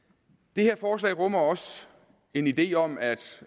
det her forslag rummer også en idé om at